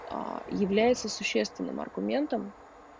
аа является существенным аргументом